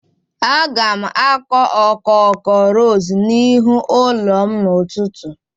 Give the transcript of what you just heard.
Aga m akụ okoko ros n'ihu ụlọ m n'ụtụtụ.